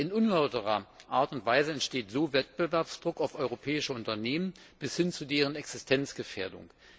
In unlauterer Art und Weise entsteht so Wettbewerbsdruck auf europäische Unternehmen bis hin zu deren Existenzgefährdung.